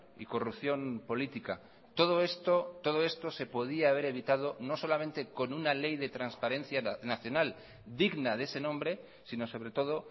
y corrupción política todo esto todo esto se podía haber evitado no solamente con una ley de transparencia nacional digna de ese nombre sino sobre todo